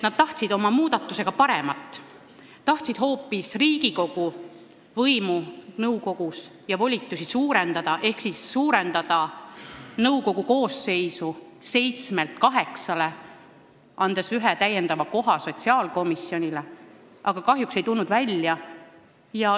Nad tahtsid oma muudatusega hoopis Riigikogu võimu ja volitusi nõukogus suurendada ehk suurendada nõukogu koosseisu seitsmelt kaheksale, andes ühe täiendava koha sotsiaalkomisjonile, aga kahjuks ei tulnud välja.